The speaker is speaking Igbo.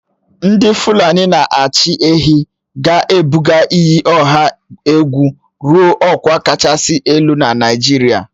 Ndị Fulani na-achị ehi ga-ebuga iyi ọha egwu ruo ọkwa kachasị elu na Naịjirịa